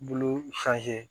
Bulu